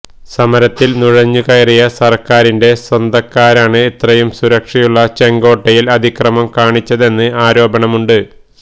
സമരത്തിൽ നുഴഞ്ഞു കയറിയ സർക്കാരിന്റെ സ്വന്തക്കാരാണ് അത്രയും സുരക്ഷയുള്ള ചെങ്കോട്ടയിൽ അതിക്രമം കാണിച്ചതെന്ന് ആരോപണമുണ്ട്